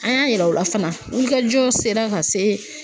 An y'a yira u la fana wulikajɔ sera ka se